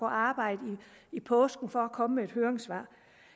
arbejde i påsken for at komme med et høringssvar